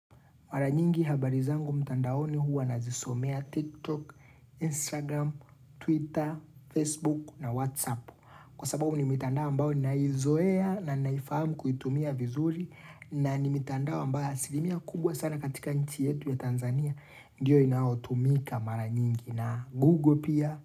Mara nyingi habari zangu mtandaoni huwa nazisomea TikTok, Instagram, Twitter, Facebook na Whatsapp. Kwa sababu ni mitandao ambayo ninaizoea na naifahamu kuitumia vizuri na ni mitandao ambayo asilimia kubwa sana katika nchi yetu ya Tanzania. Ndiyo inaotumika mara nyingi na Google pia.